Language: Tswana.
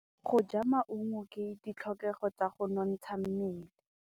Go ja maungo ke ditlhokegô tsa go nontsha mmele.